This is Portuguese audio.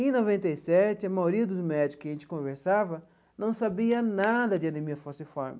Em noventa e sete, a maioria dos médicos que a gente conversava não sabia nada de anemia falciforme.